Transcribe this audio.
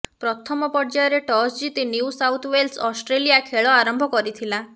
ପ୍ରଥମ ପର୍ଯ୍ୟାୟରେ ଟସ ଜିତି ନ୍ୟୁ ସାଉଥ୍ ୱେଲ୍ସ ଅଷ୍ଟ୍ରେଲିଆ ଖେଳ ଆରମ୍ଭ କରିଥିଲା